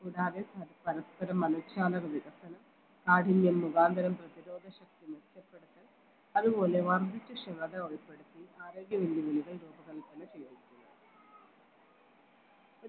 കൂടാതെ മറ്റു പരസ്പര മനഃശാസ്ത്ര വികസനം കാഠിന്യം മുഖാന്തരം പ്രധിരോധ ശക്തി മെച്ചപ്പെടുത്തൽ അതുപോലെ വർദ്ധിച്ച ക്ഷമത ഉൾപ്പെടുത്തി ആരോഗ്യ